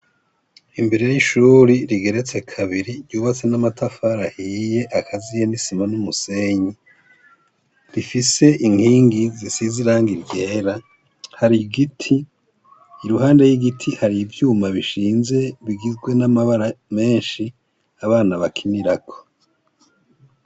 Imbere r'ishuri rigeretse kabiri ryubatse n'amatafarahiye akaziye nisima n'umusenyi rifise inkingi zisiziranga iryera hari igiti i ruhande y'igiti hari ivyuma bishinze bigizwe n'amabara menshi abana bakinirako.